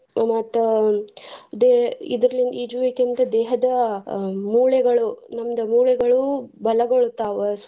ಮತ್ತ್ ದೆ~ ಇದ್ರ್ ಈಜುವಿಕೆಯಿಂದ ದೇಹದ ಅಹ್ ಮೂಳೆಗಳು ನಮ್ದ ಮೂಳೆಗಳು ಬಲಗೊಳ್ಳತಾವ.